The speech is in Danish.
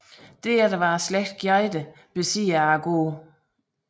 Derefter var slægten Gjedde besiddere af gården